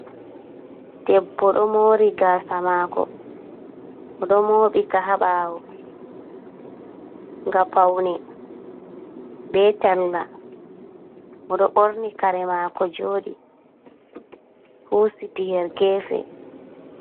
Debbo do mori gasa mako oɗo moɓika ha bawo nga paune be talla oɗo borni kare mako jodi husiti her gefe.